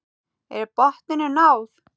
Er botninum náð?